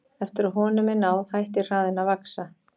Eftir að honum er náð hættir hraðinn að vaxa.